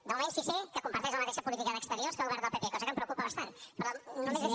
de moment sí que sé que comparteix la mateixa política d’exteriors que el govern del pp cosa que em preocupa bastant però només és